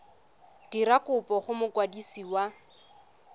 dira kopo go mokwadisi wa